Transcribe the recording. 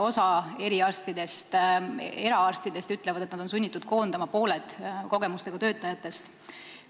Osa eraarstidest ütlevad, et nad on sunnitud koondama pooled kogemustega töötajatest.